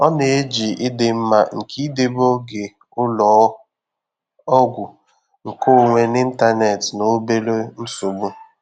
Ọ na-eji ịdị mma nke idebe oge ụlọ ọgwụ nkeonwe n'ịntanetị na obere nsogbu.